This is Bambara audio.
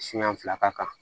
Siɲɛ fila ka kan